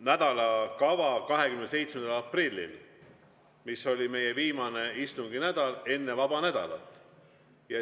nädalakava 27. aprillil, mis oli viimasel istunginädalal enne vaba nädalat.